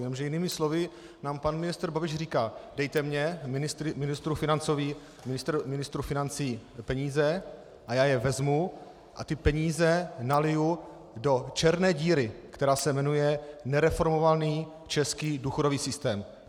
Jenže jinými slovy nám pan ministr Babiš říká: Dejte mi, ministru financí, peníze, a já je vezmu a ty peníze naliju do černé díry, která se jmenuje nereformovaný český důchodový systém.